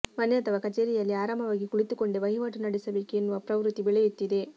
ಮನೆ ಅಥವಾ ಕಚೇರಿಯಲ್ಲಿ ಆರಾಮವಾಗಿ ಕುಳಿತುಕೊಂಡೇ ವಹಿವಾಟು ನಡೆಸಬೇಕು ಎನ್ನುವ ಪ್ರವೃತ್ತಿ ಬೆಳೆಯುತ್ತಿದೆ